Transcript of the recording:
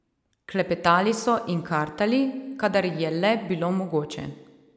Klepetali so in kartali, kadar je le bilo mogoče.